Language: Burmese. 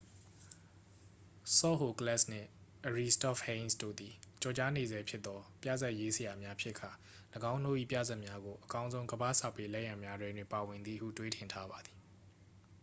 ဆော့ဟိုကလက်စ် နှင့် အရီစတော့ပ်ဟိန်းစ် တို့သည် ကျော်ကြားနေဆဲဖြစ်သော ပြဇာတ်ရေးဆရာများဖြစ်ကာ ၎င်းတို့၏ပြဇာတ်များကို အကောင်းဆုံးကမ္ဘာ့စာပေလက်ရာများထဲတွင် ပါဝင်သည်ဟု တွေးထင်ထားပါသည်